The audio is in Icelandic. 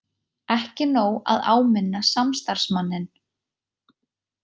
Ekki nóg að áminna starfsmanninn